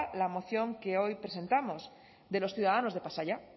la moción que hoy presentamos de los ciudadanos de pasaia